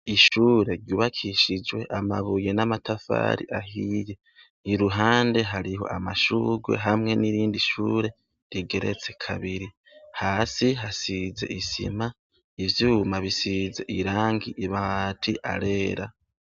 Ishure ryubakishijwe amabuye n'amatafari ahiye. Iruhande hariho amashugwe hamwe n'irindi shure rigeretse kabiri. Hasi hasize isima, ivyuma bisize. Ibati arera.